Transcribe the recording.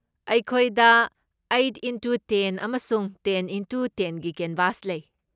ꯑꯩꯈꯣꯏꯗ eight into ten ꯑꯃꯁꯨꯡ ten into ꯇꯦꯟꯒꯤ ꯀꯦꯟꯚꯥꯁ ꯂꯩ꯫